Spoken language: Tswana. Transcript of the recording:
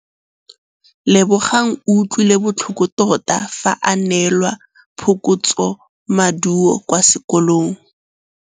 Lebogang o utlwile botlhoko tota fa a neelwa phokotsômaduô kwa sekolong.